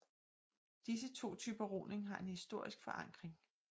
Disse to typer roning har en historisk forankring